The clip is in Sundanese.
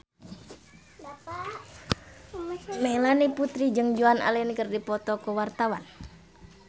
Melanie Putri jeung Joan Allen keur dipoto ku wartawan